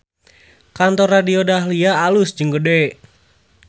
Kantor Radio Dahlia alus jeung gede